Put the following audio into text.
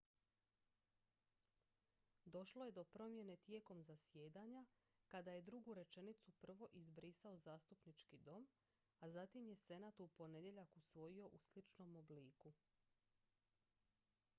došlo je do promjene tijekom zasjedanja kada je drugu rečenicu prvo izbrisao zastupnički dom a zatim je senat u ponedjeljak usvojio u sličnom obliku